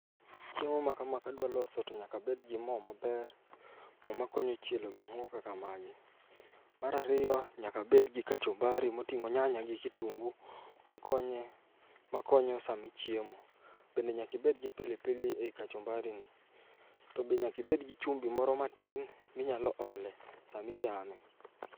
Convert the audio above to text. Chiemo makama kadwa loso to nyaka abed gi mo maber, mo makonyo chielo gik moko kaka magi. Mar ariyo nyaka abed gi kachumbari moting'o nyanya gi kitungu makonye makonyo sama ichiemo. To bende nyaka ibed gi pili pili ei kachumbarini, to be nyaka ibed gi chumbi moro matin minyalo ole sama ichame.